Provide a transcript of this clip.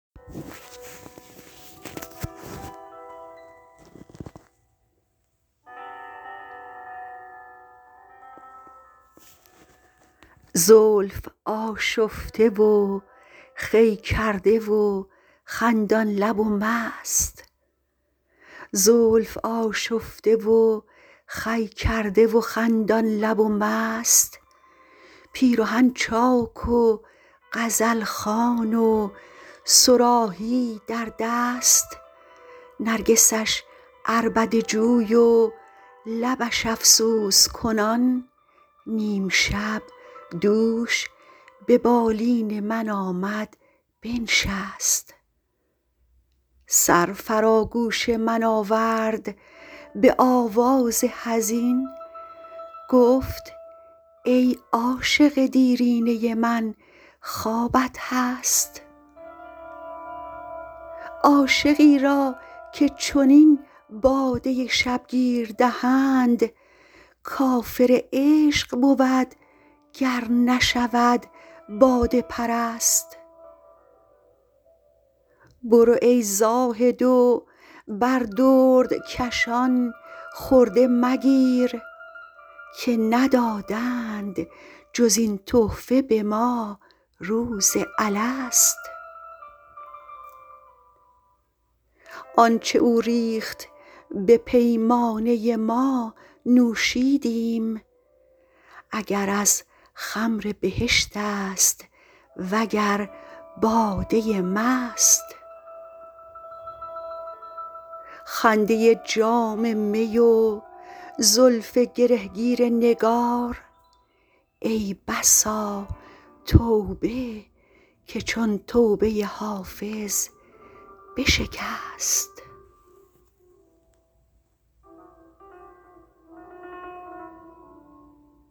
زلف آشفته و خوی کرده و خندان لب و مست پیرهن چاک و غزل خوان و صراحی در دست نرگسش عربده جوی و لبش افسوس کنان نیم شب دوش به بالین من آمد بنشست سر فرا گوش من آورد به آواز حزین گفت ای عاشق دیرینه من خوابت هست عاشقی را که چنین باده شبگیر دهند کافر عشق بود گر نشود باده پرست برو ای زاهد و بر دردکشان خرده مگیر که ندادند جز این تحفه به ما روز الست آن چه او ریخت به پیمانه ما نوشیدیم اگر از خمر بهشت است وگر باده مست خنده جام می و زلف گره گیر نگار ای بسا توبه که چون توبه حافظ بشکست